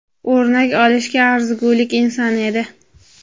o‘rnak olishga arzigulik inson edi.